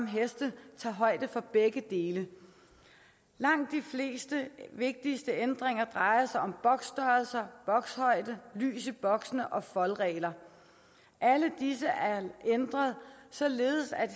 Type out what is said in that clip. heste tager højde for begge dele langt de fleste vigtige ændringer drejer sig om boksstørrelser bokshøjde lys i boksene og foldregler alle disse er ændret således at